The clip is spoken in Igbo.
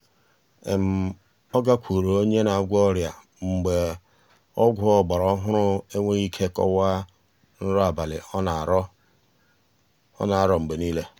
ọ gakwuuru onye na-agwọ ọrịa mgbe ọgwụ ọgbara ohụrụ enweghi ike kọwaa nrọ abalị ọ na-aro mgbe nile.